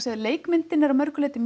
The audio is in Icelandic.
því leikmyndin er að mörgu leyti